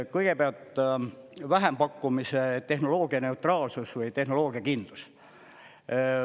Kõigepealt, vähempakkumise tehnoloogianeutraalsus või tehnoloogiakindlus.